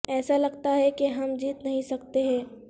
ایسا لگتا ہے کہ ہم جیت نہیں سکتے ہیں